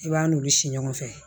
I b'a n'olu si ɲɔgɔn fɛ